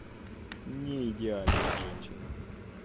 неидеальная женщина